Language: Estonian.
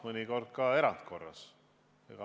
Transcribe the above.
Mõnikord kohtume ka erandkorras.